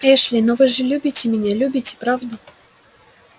эшли но вы же любите меня любите правда